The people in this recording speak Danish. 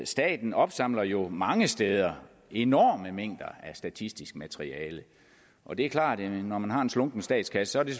staten opsamler jo mange steder enorme mængder af statistisk materiale og det er klart at når man har en slunken statskasse er det